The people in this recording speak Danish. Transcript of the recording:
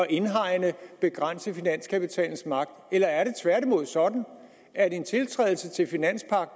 indhegne og begrænse finanskapitalens magt eller er det tværtimod sådan at en tiltrædelse